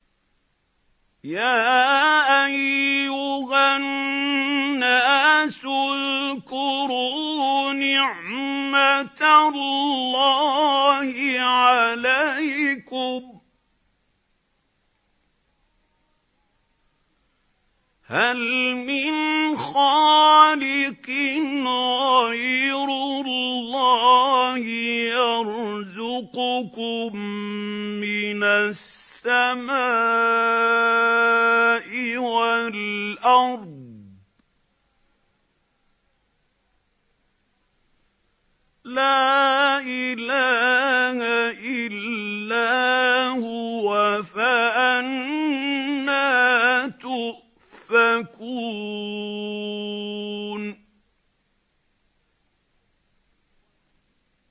يَا أَيُّهَا النَّاسُ اذْكُرُوا نِعْمَتَ اللَّهِ عَلَيْكُمْ ۚ هَلْ مِنْ خَالِقٍ غَيْرُ اللَّهِ يَرْزُقُكُم مِّنَ السَّمَاءِ وَالْأَرْضِ ۚ لَا إِلَٰهَ إِلَّا هُوَ ۖ فَأَنَّىٰ تُؤْفَكُونَ